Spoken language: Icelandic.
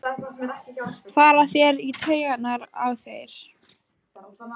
fara þeir í taugarnar á þér?